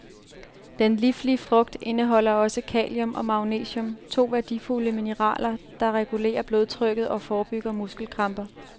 Den liflige frugt indeholder også kalium og magnesium, to værdifulde mineraler, der regulerer blodtrykket og forebygger muskelkramper.